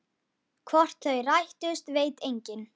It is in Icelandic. Hvort þau rættust veit enginn.